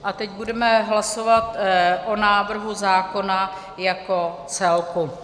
A teď budeme hlasovat o návrhu zákona jako celku.